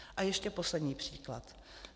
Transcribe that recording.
A ještě poslední příklad.